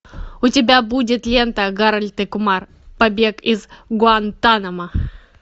у тебя будет лента гарольд и кумар побег из гуантанамо